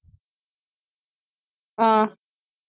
ஆஹ்